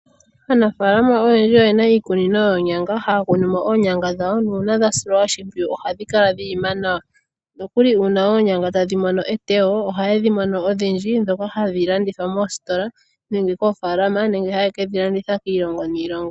Aanafaalama oyendji oye na iikunino yoonyanga, haya kunu mo oonyangà dhawo. Nuuna dha silwa oshimpwiyu ohadhi kala dhi ima nawa. Noku li uuna oonyanga tadhi mono etewo, ohaye dhi mono odhindji, ndhoka hadhi landithwa mositola nenge koofaalama nenge haye ke dhi landitha kiilongo niilongo.